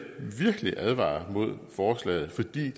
advare imod forslaget for det